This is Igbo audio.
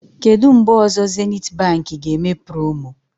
Kedụ mgbe ọzọ Zenith Baankị ga-eme promo?